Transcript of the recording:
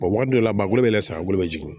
waati dɔ la ba bolo bɛ yɛlɛ san bolo bɛ jigin